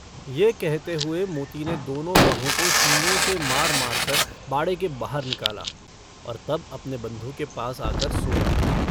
यह कहते हुए मोती ने दोनो गधों को सींगों से मार-मार कर बाड़े के बाहर निकाला और तब अपने बन्धु के पास आकर सो रहा।